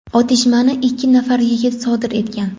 otishmani ikki nafar yigit sodir etgan.